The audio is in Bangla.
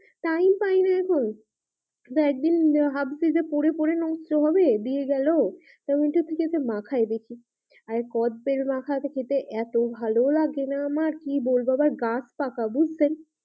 Time পাইনা এখন দিয়ে একদিন দিয়ে ভাবছি যে পড়ে পড়ে নষ্ট হবে দিয়ে গেলো? ওইটা থেকে যে মাখাই দেখি আর কদবেল মাখা খেতে এতো ভালোলাগে না আমার কি বলবো আবার গাছ পাকা বুজছেন?